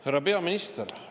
Härra peaminister!